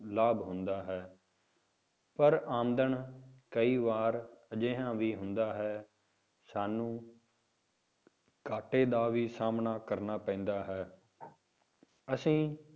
ਲਾਭ ਹੁੰਦਾ ਹੈ ਪਰ ਆਮਦਨ ਕਈ ਵਾਰ ਅਜਿਹਾ ਵੀ ਹੁੰਦਾ ਹੈ, ਸਾਨੂੰ ਘਾਟੇ ਦਾ ਵੀ ਸਾਹਮਣਾ ਕਰਨਾ ਪੈਂਦਾ ਹੈ ਅਸੀਂ